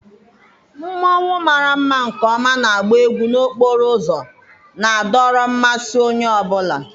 Mmonwu mara mma nke ọma na-agba egwu n'okporo ụzọ, na-adọrọ mmasị onye ọ bụla.